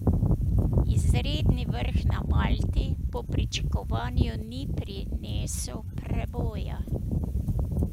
Izredni vrh na Malti po pričakovanju ni prinesel preboja.